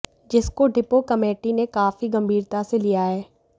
जिसको depot committee ने काफी गम्भीरता से लिया है